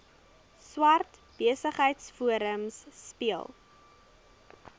swart besigheidsforum speel